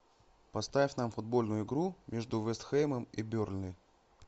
поставь нам футбольную игру между вест хэмом и бернли